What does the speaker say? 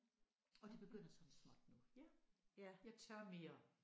Og det begynder sådan småt nu. Jeg tør mere